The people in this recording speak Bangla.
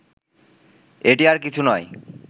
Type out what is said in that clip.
এটি আর কিছু নয়